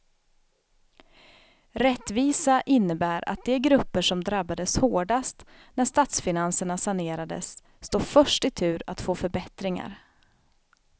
Rättvisa innebär att de grupper som drabbades hårdast när statsfinanserna sanerades står först i tur att få förbättringar.